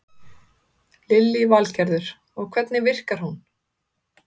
Lillý Valgerður: Og hvernig virkar hún?